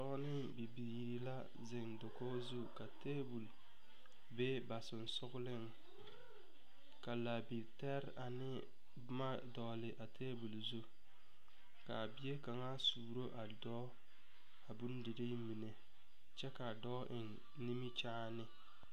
Doɔ ne bibiire la zeŋ dakoge zu ka tabul be ba susugleŋ. Ka laa bilter ane boma dogle a tabul zu. Kaa bie kanga suuro a doɔ a bondire mene. Kyɛ kaa doɔ eŋ nimikyaane.